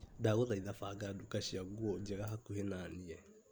Ndagũthaitha banga nduka cia nguo njega hakuhĩ na niĩ .